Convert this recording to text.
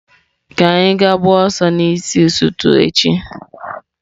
Ka anyị gaa gbaa ọsọ n'isi ụtụtụ echi.